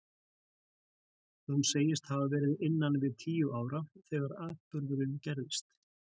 Hún segist hafa verið innan við tíu ára þegar atburðurinn gerðist.